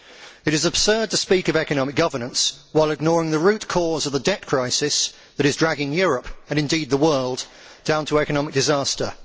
It is absurd to speak of economic governance while ignoring the root cause of the debt crisis that is dragging Europe, and indeed the world, down to economic disaster.